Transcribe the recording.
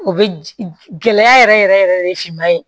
O bɛ gɛlɛya yɛrɛ yɛrɛ yɛrɛ yɛrɛ de finma ye